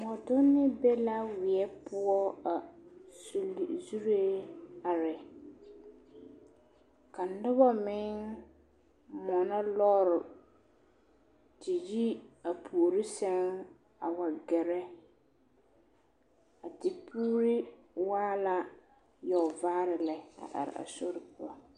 Mɔdonne be la weɛ poɔ a sulli zuree are ka noba meŋ mɔnɔ lɔɔre te yi a puori seŋ a wa gɛrɛ a tepuuri waa la yɔɔvaare lɛ a are a sori poɔ.